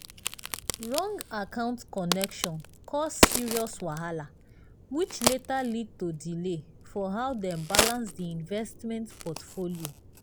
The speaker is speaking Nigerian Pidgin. wrong account connection cause serious wahala which later lead to delay for how dem balance the investment portfolio.